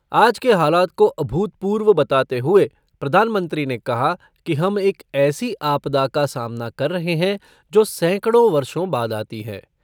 आज के हालात को अभूतपूर्व बताते हुए प्रधानमंत्री ने कहा कि हम एक ऐसी आपदा का सामना कर रहे हैं, जो सैकडों वर्षों बाद आती है।